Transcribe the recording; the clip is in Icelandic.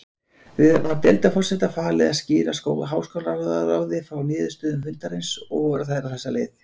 Var deildarforseta falið að skýra háskólaráði frá niðurstöðum fundarins, og voru þær á þessa leið